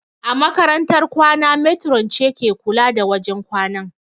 A makarantar kwana matron ce ke kula da wajen kwanan